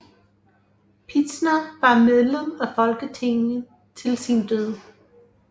Pitzner var medlem af Folketinget til sin død